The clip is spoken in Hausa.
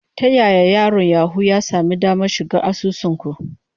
Ta yaya yaron Yahoo ya sami damar shiga asusun ku?